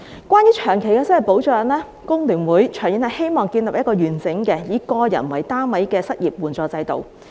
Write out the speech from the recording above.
關於長期失業保障，工聯會希望長遠建立一個完整並以個人為單位的失業援助制度。